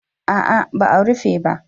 A'a ba a rufe ba